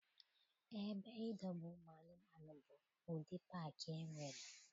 Ebe idobe ụmụanụmanụ bụ ụdị paakị e nwere.